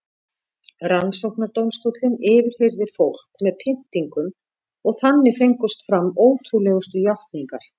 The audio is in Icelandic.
Rannsóknardómstóllinn yfirheyrði fólk með pyntingum og þannig fengust fram ótrúlegustu játningar.